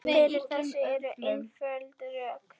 Fyrir þessu eru einföld rök.